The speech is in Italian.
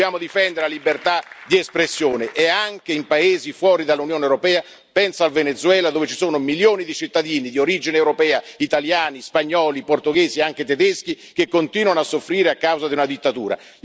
Dobbiamo difendere la libertà di espressione e anche in paesi fuori dall'Unione europea, penso al Venezuela, dove ci sono milioni di cittadini di origine europea, italiani, spagnoli, portoghesi, anche tedeschi che continuano a soffrire a causa di una dittatura.